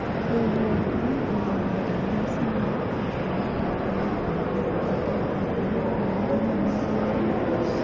joywak ne oyuoro e nyasi mar kopo mogik mar Oloo kata Obedo ni wuon'gi ne nigi uma